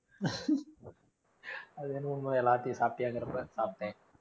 அது வேணா உண்மைதான் எல்லாத்தையும் சாப்பிட்டியாங்கிறப்ப சாப்பிட்டேன்